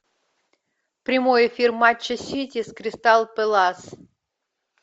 прямой эфир матча сити с кристал пэлас